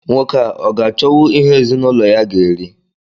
Nwoke a, ọ ga-achọwụ ihe ezinụlọ ya ga eri?